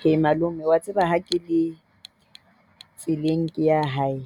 He malome o a tseba ha ke le tseleng e yang hae,